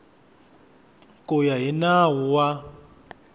ku ya hi nawu wa